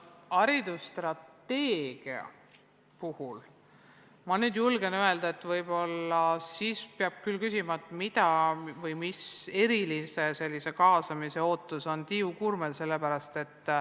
Haridusstrateegia puhul, ma julgen öelda, peab võib-olla küsima, milline eriline kaasamisega seotud ootus on Tiiu Kuurmel.